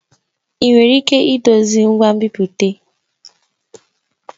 Ị nwere ike idozi ngwa nbipute?